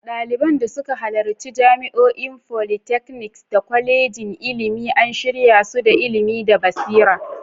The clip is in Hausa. Daliban da suka halarci jami'o'i, polytechnics, da kwalejojin ilimi an shirya su da ilimi da basira.